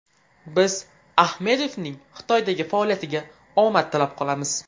Biz Ahmedovning Xitoydagi faoliyatiga omad tilab qolamiz.